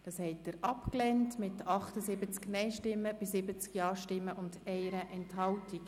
Sie haben den Antrag abgelehnt mit 78 Nein- zu 70 Ja-Stimmen bei 1 Enthaltung.